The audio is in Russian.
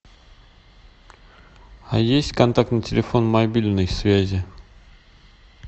а есть контактный телефон мобильной связи